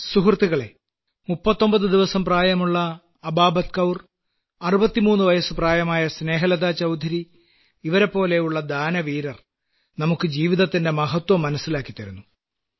സുഹൃത്തുക്കളേ 39 ദിവസം പ്രായമുള്ള അബാബത്ത് കൌർ 63 വയസ്സ് പ്രായമായ സ്നേഹലത ചൌധരി ഇവരെപ്പോലെയുള്ള ദാനവീരർ നമുക്ക് ജീവിതത്തിന്റെ മഹത്വം മനസ്സിലാക്കിത്തരുന്നു